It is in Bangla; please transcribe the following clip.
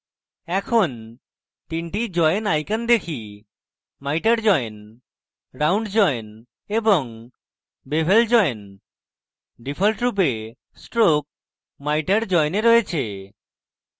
এখন 3 join icons দেখি miter join round join এবং bevel join ডিফল্টরূপে stroke miter join এ রয়েছে